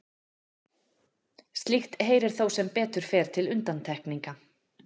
slíkt heyrir þó sem betur fer til undantekninga